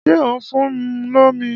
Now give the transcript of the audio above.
Ṣé ò ń fun lómi?